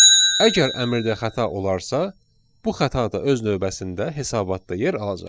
Əgər əmrdə xəta olarsa, bu xətada öz növbəsində hesabatda yer alacaq.